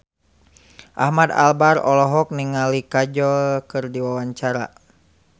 Ahmad Albar olohok ningali Kajol keur diwawancara